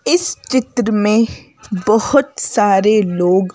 इस चित्र में बहुत सारे लोग--